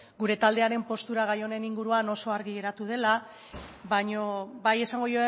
gure taldearen postura gai honen inguruan oso argi geratu dela baino bai esango